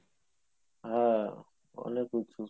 হ্যাঁ অনেক উচুঁ